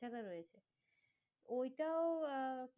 ওইটাও আহ